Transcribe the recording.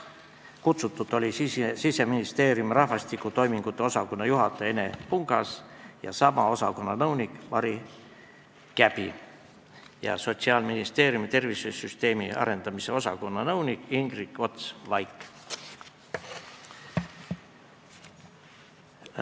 Kutsutud olid Siseministeeriumi rahvastiku toimingute osakonna juhataja Enel Pungas ja sama osakonna nõunik Mari Käbi ning Sotsiaalministeeriumi tervisesüsteemi arendamise osakonna nõunik Ingrid Ots-Vaik.